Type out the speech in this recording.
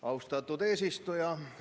Austatud eesistuja!